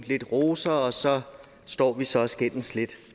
lidt roser og så står vi så og skændes lidt